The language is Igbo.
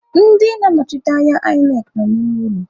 Ndị na-anọchite anya INEC nọ n'ime ụlọ.